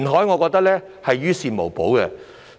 我覺得填海是於事無補。